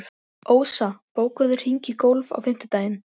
Svar: Sæll vertu, þetta eru góð spurning og þörf.